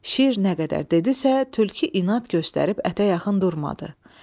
Şir nə qədər dedisə, tülkü inad göstərib ətə yaxın durmadı.